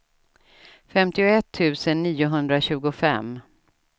femtioett tusen niohundratjugofem